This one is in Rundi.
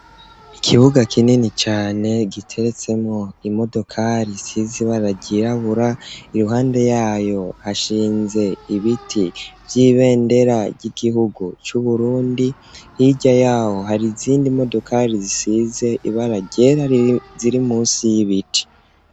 Ikibuga, kinini cane, giteretsemwo imodokari, isize ibara ryirabura; iruhande yayo, hashinze ibiti, vy'ibendera ry'igihugu, c'Uburundi; hirya y'aho, hari izindi modokari, zisize ibara ryera, ziri munsi y'ibiti.